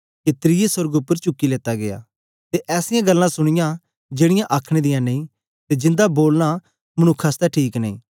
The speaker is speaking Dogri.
के त्रिये सोर्ग उपर चुक्की लेता गीया ते ऐसीयां गल्लां सुनीयां जेड़ीयां आखने दियां नेई ते जिन्दा बोलना मनुक्ख आसतै ठीक नेई